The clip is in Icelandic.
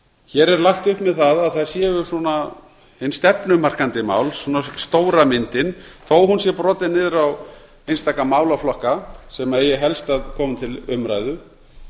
hér er lagt upp með það að það séu stefnumarkandi mál stóra myndin þó að hún sé brotin niður á einstaka málaflokka sem eigi helst að koma til umræðu